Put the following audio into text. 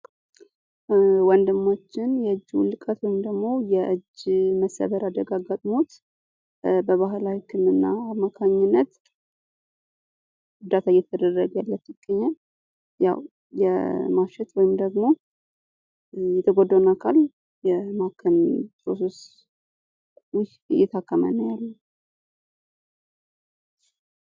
ወንድማችን የእጁን ውድቀት ወይም ደግሞ የእጅ መሰበር አደጋ አጋጥሞት በባህል ወጌሻ አማካኝነት እርዳታ እየተደረገለት ይገኛል። የማሸት ወይም ደግሞ የተጎዳው አካል የማገገም እየታከመ ነው ያለው።